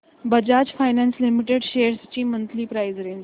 Bajaj finance limited shares ची monthly price range